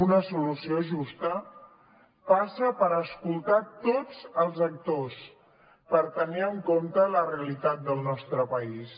una solució justa passa per escoltar tots els actors per tenir en compte la realitat del nostre país